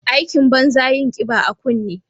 Aikin banza yin kiba a kunne.